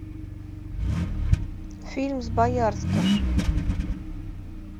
фильм с боярским